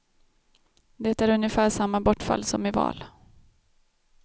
Det är ungefär samma bortfall som i val.